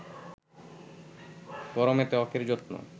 গরমে ত্বকের যত্ন